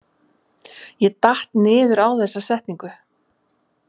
Ég datt niður á þessa setningu.